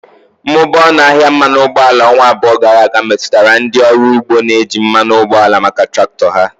Mmụba ọnụ ahịa mmanụ ụgbọala ọnwa abụọ gara aga metụtara ndị ọrụ ugbo na-eji mmanụ ụgbọala maka traktọ ha.